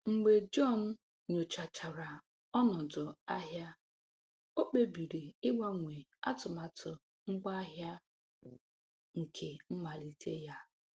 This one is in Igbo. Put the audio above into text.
Mgbe John nyochachara ọnọdụ ahịa, o kpebiri ịgbanwe atụmatụ ngwaahịa nke mmalite ya.